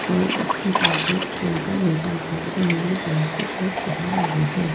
और उसके पास एक लड़का बैठा हुआ है जो नीले कलर के शर्ट पहने हुए है।